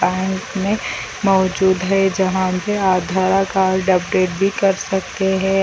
Bank में मौजूद है जहाँ पे आधार कार्ड अपडेट भी कर सकते है।